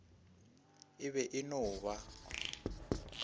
e be e no ba